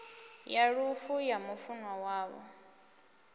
ya lufu ya mufunwa wavho